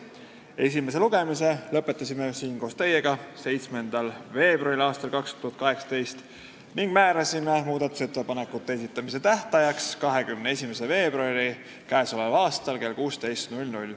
Esimese lugemise lõpetasime siin koos teiega 7. veebruaril ning määrasime muudatusettepanekute esitamise tähtajaks k.a 21. veebruari kell 16.